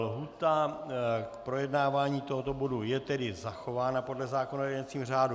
Lhůta k projednávání tohoto bodu je tedy zachována podle zákona o jednacím řádu.